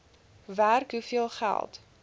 werk hoeveel geld